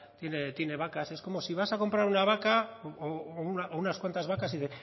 tiene vacas es como si vas a comprar una vaca o unas cuantas vacas y